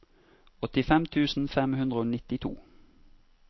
åttifem tusen fem hundre og nittito